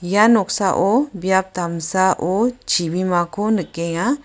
ia noksao biap damsao chibimako nikenga.